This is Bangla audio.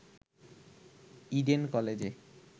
ইডেন কলেজে